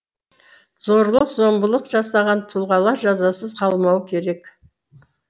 зорлық зомбылық жасаған тұлғалар жазасыз қалмауы керек